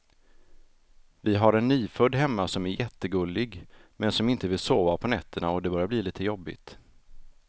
Vi har en nyfödd hemma som är jättegullig, men som inte vill sova på nätterna och det börjar bli lite jobbigt.